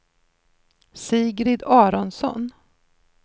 Sigrid Aronsson